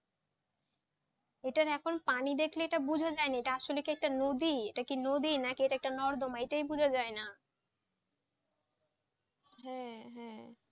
এটা এখন পানি দেখলে ইটা বুঝা যায়নি এটা আসলে যে একটা নদী এটাকি নদী না নর্দমান এটা বোঝা যায় না হ্যাঁ হ্যাঁ